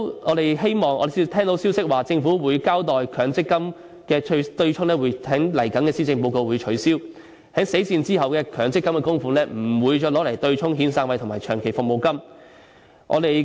我們聽到消息說政府會交代強積金對沖的問題，在未來的施政報告內提出取消，在死線後的強積金供款不會再用作對沖遣散費和長期服務金。